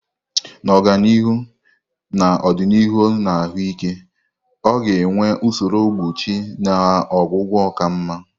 Na ọganihu n'ọdịnihu na ahụike, a ga-enwe usoro mgbochi na ọgwụgwọ ka mma.